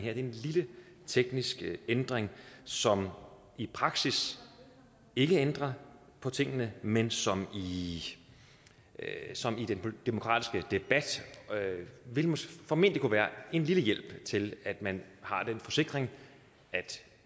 er en lille teknisk ændring som i praksis ikke ændrer på tingene men som i som i den demokratiske debat formentlig kunne være en lille hjælp i forhold til at man har den forsikring at